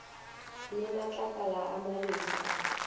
le matlakala a mabedi a